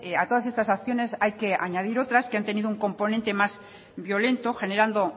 a todas estas acciones hay que añadir otras que han tenido un componente más violento generando